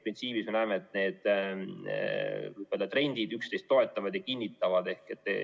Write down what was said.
Printsiibis me näeme, et need trendid üksteist toetavad ja kinnitavad.